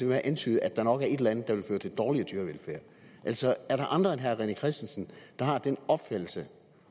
med at antyde at der nok er et eller andet der nok vil føre til dårligere dyrevelfærd er der andre end herre rené christensen der har den opfattelse